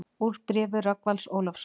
Úr bréfi Rögnvalds Ólafssonar